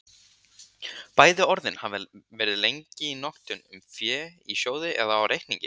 Bæði orðin hafa lengi verið í notkun um fé í sjóði eða á reikningi.